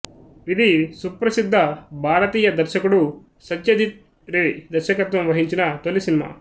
ఇది సుప్రసిద్ధ భారతీయ దర్శకుడు సత్యజిత్ రే దర్శకత్వం వహించిన తొలి సినిమా